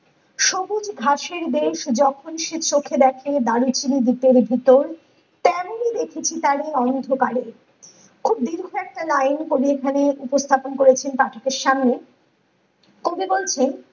ঘাসের বেশ যখন সে চোখে দেখে ভিতরে ভিতর ।তেমনি দেখেছি তারে অন্ধকারে । খুব দীর্ঘ একটা লিন কবি এখানে উপস্থাপন করেছেন পাঠকের সামনে । কবি বলছেন